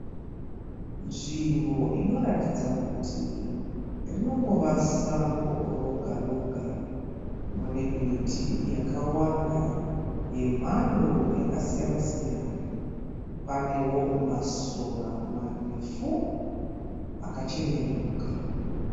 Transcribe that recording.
Nzvimbo inoratidza kuti rinongova sango roga roga. Mune miti yakawanda yemhando yakasiyana siyana. Panewo masora marefu akacheneruka.